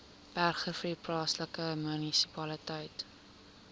bergrivier plaaslike munisipaliteit